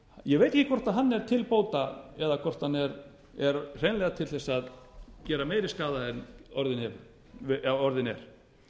ég veit ekki hvort hann er til bóta eða hvort hann er hreinlega til þess að gera meiri skaða en orðinn er